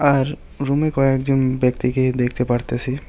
আর রুমে কয়েকজন ব্যক্তিকে দেখতে পারতাসি।